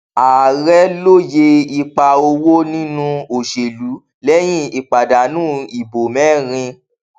ààrẹ lóyè ipa owó nínú òṣèlú lẹyìn ìpadànù ìbò mẹrin